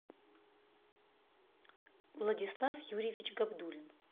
владислав юрьевич габдуллин